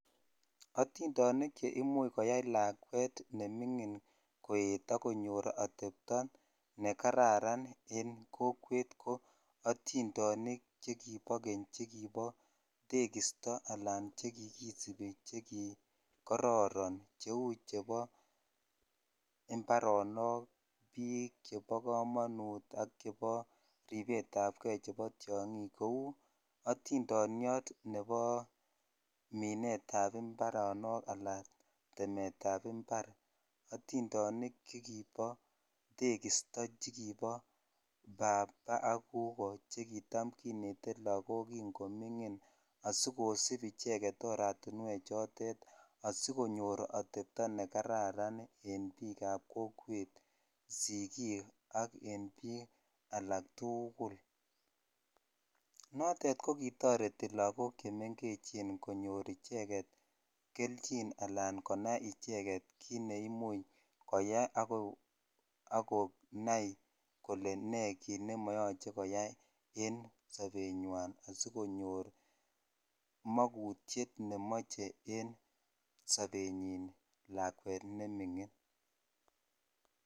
Atindonik che imuch koyai lakwet nemingine koet ak konyor atepto ne kararan en kokwet ko atindonik che kibo keny che kibo tekisto ana che kikisibi che kikororon che u chebo imbaronok bik chebo komanut ak chebo ribet tap ke nebo tiongik kou atindoniyot nebo minet ab imbaronok alan temet ab imbar atindonik Che kibo tekisto che kibo paab ak kukok che kitam kinete lakok ki ngomingin asi kosib icheget aratinwek chotet asi ko nyor satepto ne kararan en bik ab kokwet sikik ak en bik alaktugul notet ko kitoreti lokok Che mengechen konyor icheget kelgin anan konai icheget kiit ne imuch koyai ak konai kole nee kit nemoyoche koyoi en sobet nywan asi konyor magutiet nemoeche en sobet nyin lakwet ne mingin